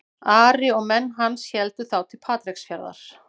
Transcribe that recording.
Ari og menn hans héldu þá til Patreksfjarðar.